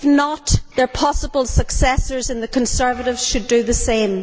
If not, their possible successors in the Conservatives should do the same.